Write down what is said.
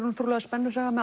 trúlega spennusaga með